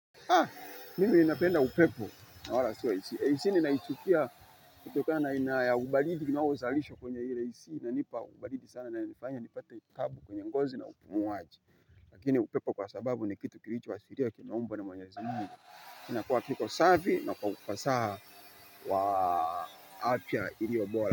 Haa! Mimi napenda upepo na wala sio ac. AC ninaichukia kutokana na aina ya ubaridi kinaozalishwa kwenye ile ac. Inanipa ubaridi sana inayonifanya nipate taabu kwenye ngozi na upumuaji. Lakini upepo kwa sababu ni kitu kilicho asilia kimeumbwa na mwenyezi Mungu. Inakuwa kiko safi na kwa ufasaha wa afya iliyo bora.